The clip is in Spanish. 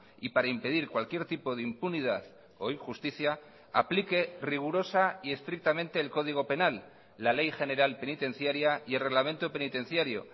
y para impedir cualquier tipo de impunidad o injusticia aplique rigurosa y estrictamente el código penal la ley general penitenciaria y el reglamento penitenciario